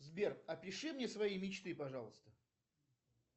сбер опиши мне свои мечты пожалуйста